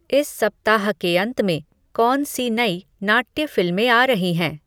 इस सप्ताह के अंत में कौन सी नई नाट्य फ़िल्में आ रही हैं